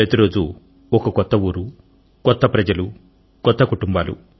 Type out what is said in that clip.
ప్రతి రోజు ఒక కొత్త ఊరు కొత్త ప్రజలు కొత్త కుటుంబాలు